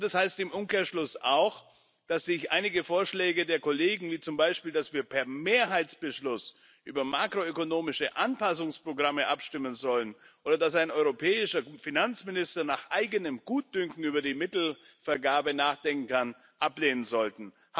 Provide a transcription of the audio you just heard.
Und das heißt im Umkehrschluss auch, dass wir einige Vorschläge der Kollegen, wie zum Beispiel, dass wir per Mehrheitsbeschluss über makroökonomische Anpassungsprogramme abstimmen sollen oder dass ein europäischer Finanzminister nach eigenem Gutdünken über die Mittelvergabe nachdenken kann, ablehnen sollten.